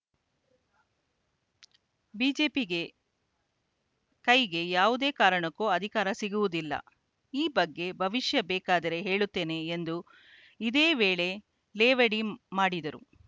ಬಿಜೆಪಿಗೆ ಕೈಗೆ ಯಾವುದೇ ಕಾರಣಕ್ಕೂ ಅಧಿಕಾರ ಸಿಗುವುದಿಲ್ಲ ಈ ಬಗ್ಗೆ ಭವಿಷ್ಯ ಬೇಕಾದರೆ ಹೇಳುತ್ತೇನೆ ಎಂದು ಇದೇ ವೇಳೆ ಲೇವಡಿ ಮಾಡಿದರು